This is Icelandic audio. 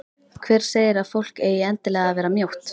Hver segir að fólk eigi endilega að vera mjótt?